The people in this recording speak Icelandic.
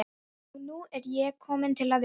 Og nú er ég komin til að vera.